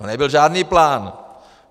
No nebyl žádný plán!